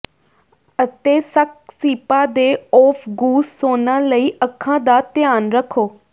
ਅਤੇ ਸਕਸੀਪਾ ਦੇ ਔਫਗੂਸ ਸੌਨਾ ਲਈ ਅੱਖਾਂ ਦਾ ਧਿਆਨ ਰੱਖੋ